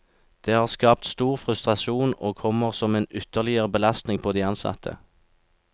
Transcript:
Det har skapt stor frustrasjon og kommer som en ytterligere belastning på de ansatte.